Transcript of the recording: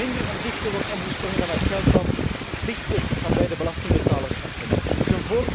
minder omzichtig wordt omgesprongen dan met geld dat dichter van bij de belastingbetaler afkomstig is.